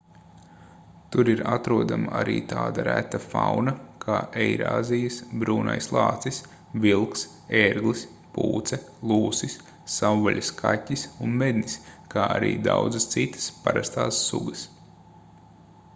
tur ir atrodama arī tāda reta fauna kā eirāzijas brūnais lācis vilks ērglis pūce lūsis savvaļas kaķis un mednis kā arī daudzas citas parastās sugas